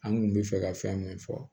An kun bɛ fɛ ka fɛn min fɔ